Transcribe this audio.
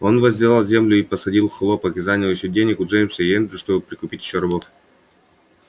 он возделал землю и посадил хлопок и занял ещё денег у джеймса и эндрю чтобы прикупить ещё рабов